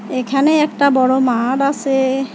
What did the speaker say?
এইখানে একটা বড় মাড আসে।